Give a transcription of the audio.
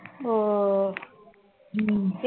oh ஹம்